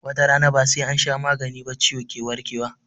Watarana ba sai ansha magani ba ciwo ke warke wa